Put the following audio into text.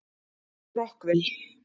Rockville